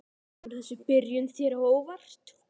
Kemur þessi byrjun þér á óvart?